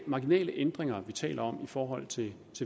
marginale ændringer vi taler om i forhold til